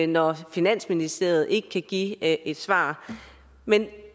når finansministeriet ikke kan give et svar men